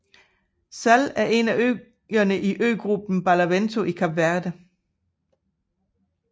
Sal er en af øerne i øgruppen Barlavento i Kap Verde